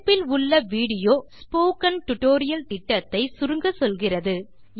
தொடுப்பில் உள்ள video spoken tutorial திட்டத்தை சுருங்கச்சொல்கிறது